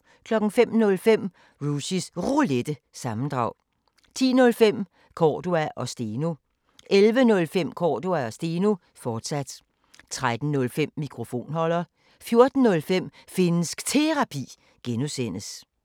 05:05: Rushys Roulette – sammendrag 10:05: Cordua & Steno 11:05: Cordua & Steno, fortsat 13:05: Mikrofonholder 14:05: Finnsk Terapi (G)